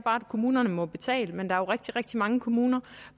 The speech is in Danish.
kommunerne må betale men der er jo rigtig rigtig mange kommuner